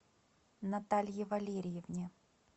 наталье валерьевне